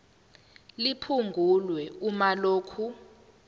liphungulwe uma lokhu